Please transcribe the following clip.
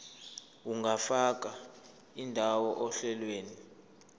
ungafaka indawo ohlelweni